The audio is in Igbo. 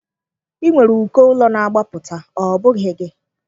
Ị nwere uko ụlọ na-agbapụta, ọ bụghị gị?